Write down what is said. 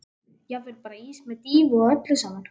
Jafnvel bara ís með dýfu og öllu saman.